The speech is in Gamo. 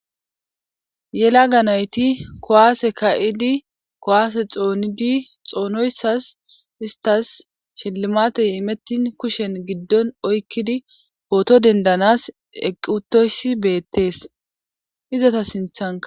yelaga nayti kuwaase ka7idi kuwaase xoonidi xoonoyssas istas shilimatey imettin kushen giddon oykkidi pooto dendanas eqqi7utoyssi beettees izata sinthanka.